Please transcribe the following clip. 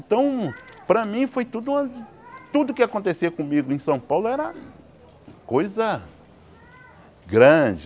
Então para mim foi tudo uma... Tudo que acontecia comigo em São Paulo era coisa grande.